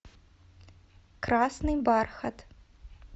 красный бархат